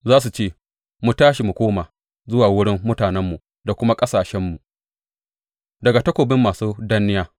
Za su ce, Mu tashi, mu koma zuwa wurin mutanenmu da kuma ƙasashenmu, daga takobin masu danniya.’